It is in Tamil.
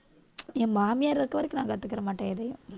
என் மாமியார் இருக்க வரைக்கும் நான் கத்துக்கிற மாட்டேன் எதையும்